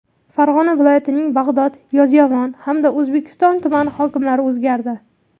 Farg‘ona viloyatining Bag‘dod, Yozyovon hamda O‘zbekiston tumani hokimlari o‘zgardi.